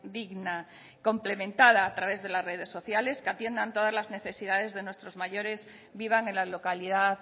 digna complementada a través de las redes sociales que atiendan todas las necesidades de nuestros mayores vivan en la localidad